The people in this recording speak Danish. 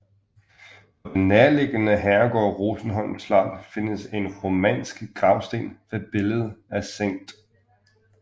På den nærliggende herregård Rosenholm Slot findes en romansk gravsten med billede af Skt